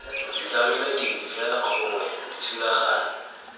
ditlamelo dipe fela gongwe dithulaganyo